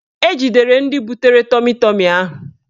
Ejidere ndị butere ya tọmi tọmi ahụ